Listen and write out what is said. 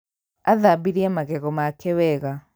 Athambirie magego make wega